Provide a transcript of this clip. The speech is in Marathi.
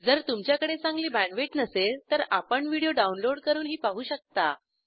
जर तुमच्याकडे चांगली बॅण्डविड्थ नसेल तर आपण व्हिडिओ डाउनलोड करूनही पाहू शकता